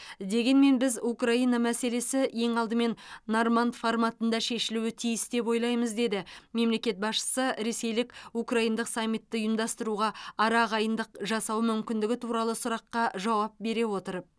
дегенмен біз украина мәселесі ең алдымен норманд форматында шешілуі тиіс деп ойлаймыз деді мемлекет басшысы ресейлік украиндық саммитті ұйымдастыруға арағайындық жасау мүмкіндігі туралы сұраққа жауап бере отырып